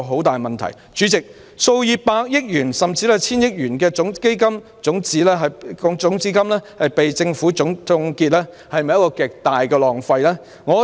代理主席，數以百億元甚至達千億元的基金種子金被政府凍結，是否極大的浪費呢？